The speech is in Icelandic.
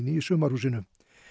í sumarhúsinu